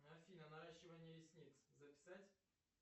афина наращивание ресниц записать